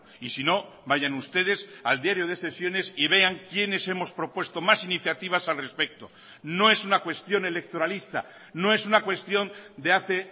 y si no vayan ustedes al diario de sesiones y vean quiénes hemos propuesto más iniciativas al respecto no es una cuestión electoralista no es una cuestión de hace